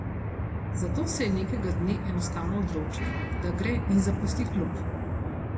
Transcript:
Zato se je nekega dne enostavno odločil, da gre in zapusti klub.